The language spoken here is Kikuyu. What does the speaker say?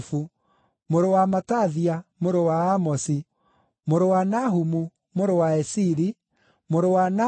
mũrũ wa Matathia, mũrũ wa Amosi, mũrũ wa Nahumu, mũrũ wa Esili, mũrũ wa Nagai,